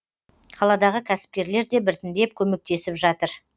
қаладағы кәсіпкерлер де біртіндеп көмектесіп жатыр